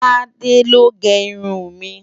Tade ló gè irún mi